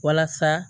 Walasa